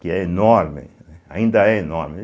Que é enorme ainda, né, ainda é enorme.